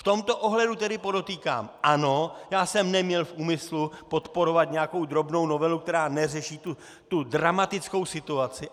V tomto ohledu tedy podotýkám - ano, já jsem neměl v úmyslu podporovat nějakou drobnou novelu, která neřeší tu dramatickou situaci.